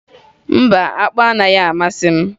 Mba, akpụ anaghị amasị m